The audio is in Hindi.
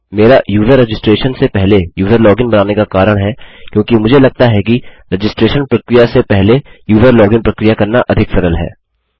मेरा यूजर रजिस्ट्रेशन से पहले यूजर लोगिन बनाने का कारण है क्योंकि मुझे लगता है कि रजिस्ट्रैशन रजिस्ट्रेशन प्रक्रिया से पहले यूजर लोगिन प्रक्रिया करना अधिक सरल है